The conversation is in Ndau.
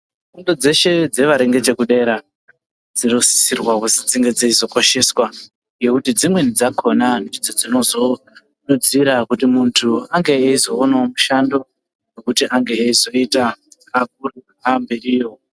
Fundo dzeshe dzevari ngechekudera dzinosisirwa kuti dzinge dzeizokosheswa ngekuti dzimweni dzakhona ndidzo dzinozowedzera kuti muntu azomuka eyizoonawo mushando kuti ange eyizoita amberiyo.